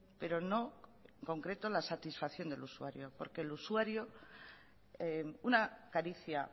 pero no en concreto la satisfacción del usuario porque el usuario una caricia